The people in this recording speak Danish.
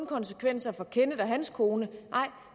konsekvenser for kenneth og hans kone nej